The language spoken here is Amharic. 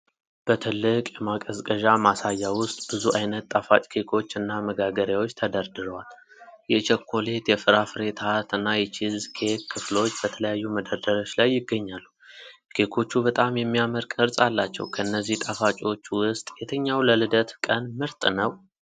በትልቅ የማቀዝቀዣ ማሳያ ውስጥ ብዙ ዓይነት ጣፋጭ ኬኮች እና መጋገሪያዎች ተደርድረዋል። የቸኮሌት፣ የፍራፍሬ ታርት እና የቺዝ ኬክ ክፍሎች በተለያዩ መደርደሪያዎች ላይ ይገኛሉ። ኬኮቹ በጣም የሚያምር ቅርፅ አላቸው። ከነዚህ ጣፋጮች ውስጥ የትኛው ለልደት ቀን ምርጥ ነው?